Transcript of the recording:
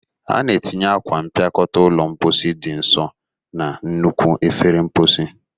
A na-etinye akwa mpịakọta ụlọ mposi dị nso na nnukwu efere mposi